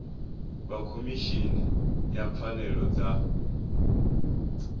vha khomishini ya pfanelo dza